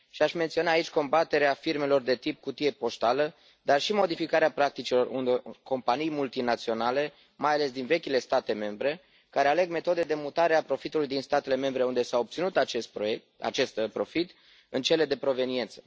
Aș menționa aici combaterea firmelor de tip cutie poștală, dar și modificarea practicilor unor companii multinaționale, mai ales din vechile state membre, care aleg metode de mutare a profitului din statele membre unde s a obținut acest profit în cele de proveniență.